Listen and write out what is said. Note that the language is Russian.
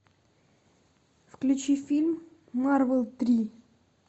включи фильм марвел три